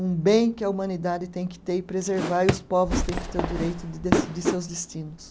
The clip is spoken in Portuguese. um bem que a humanidade tem que ter e preservar, e os povos têm que ter o direito de decidir seus destinos.